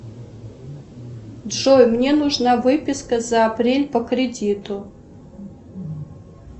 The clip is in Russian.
джой мне нужна выписка за апрель по кредиту